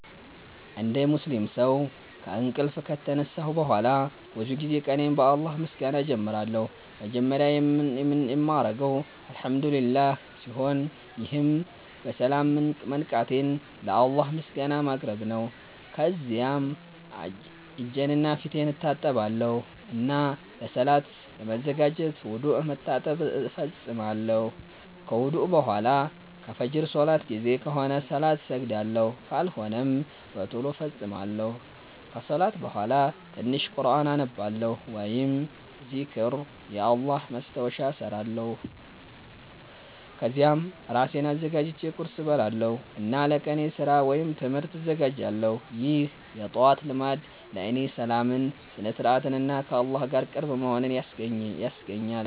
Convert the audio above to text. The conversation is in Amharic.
እንደ ሙስሊም ሰው ከእንቅልፍ ከተነሳሁ በኋላ ብዙ ጊዜ ቀኔን በአላህ ምስጋና እጀምራለሁ። መጀመሪያ የምናገረው “አልሐምዱሊላህ” ሲሆን ይህም በሰላም መንቃቴን ለአላህ ምስጋና ማቅረብ ነው። ከዚያም እጄንና ፊቴን እታጠባለሁ እና ለሰላት ለመዘጋጀት ውዱእ (መታጠብ) እፈጽማለሁ። ከውዱእ በኋላ ከፍጅር ሰላት ጊዜ ከሆነ ሰላት እሰግዳለሁ፣ ካልሆነም በቶሎ እፈጽማለሁ። ከሰላት በኋላ ትንሽ ቁርኣን አነባለሁ ወይም ዚክር (የአላህ ማስታወሻ) እሰራለሁ። ከዚያም እራሴን አዘጋጅቼ ቁርስ እበላለሁ እና ለቀኔ ስራ ወይም ትምህርት እዘጋጃለሁ። ይህ የጠዋት ልማድ ለእኔ ሰላምን፣ ስነ-ስርዓትን እና ከአላህ ጋር ቅርብ መሆንን ያስገኛል።